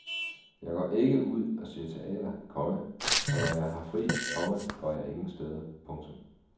Jeg går ikke ud og ser teater, komma for når jeg har fri, komma går jeg ingen steder. punktum